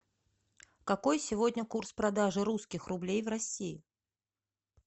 какой сегодня курс продажи русских рублей в россии